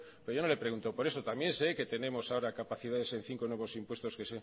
pero yo no le he preguntado por eso también sé que tenemos ahora capacidades en cinco nuevos impuestos